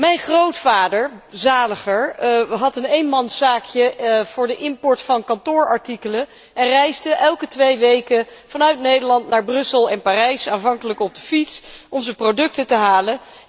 Mijn grootvader zaliger had een eenmanszaakje voor de import van kantoorartikelen en reisde elke twee weken vanuit Nederland naar Brussel en Parijs, aanvankelijk op de fiets, om zijn producten te halen.